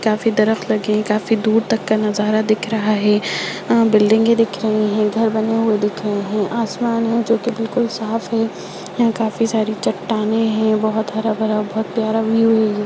काफी दरख्त लगी है काफी दूर तक का नज़ारा दिख रहा है बिल्डिंगे दिख रही हैं घर बने हुआ दिख रहे हैं आसमान है जोकि बिलकुल साफ है यह काफी सारी चट्टान है बहुत हरा-भरा और बहुत प्यारा व्यू है ये।